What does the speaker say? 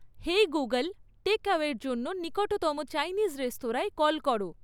হেই Google টেকঅ্যাওয়ের জন্য নিকটতম চাইনিজ রেস্তরাঁয় কল করো